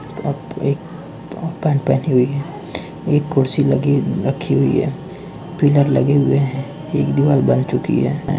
आप एक ओपन पहनी हुई है। एक कुर्सी लगी रखी हुई है। पिलर लगे हुए हैं। एक दीवार बन चुकी है।